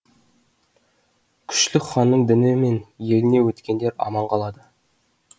күшлік ханның діні мен еліне өткендер аман қалады